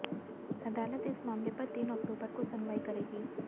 अदालत इस मामले पर तीन अक्टूबर को सुनवाई करेगी